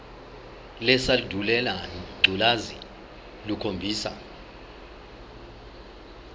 lesandulela ngculazi lukhombisa